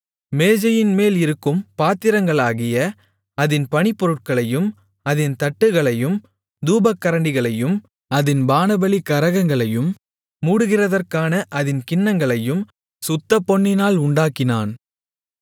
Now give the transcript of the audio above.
மேஜையின்மேலிருக்கும் பாத்திரங்களாகிய அதின் பணிப்பொருட்களையும் அதின் தட்டுகளையும் தூபக்கரண்டிகளையும் அதின் பானபலி கரகங்களையும் மூடுகிறதற்கான அதின் கிண்ணங்களையும் சுத்தப்பொன்னினால் உண்டாக்கினான்